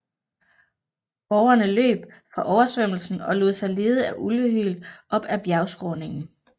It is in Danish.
Borgerne løb fra oversvømmelsen og lod sig lede af ulvehyl op ad bjergskråningen